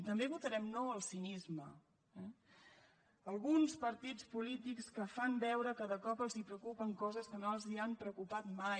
i també votarem no al cinisme eh alguns partits polítics que fan veure que de cop els preocupen coses que no els han preocupat mai